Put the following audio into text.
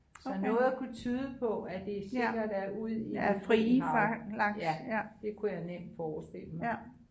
Så noget kunne tyde på at det sikkert er ude i det frie hav ja det kunne jeg nemt forestille mig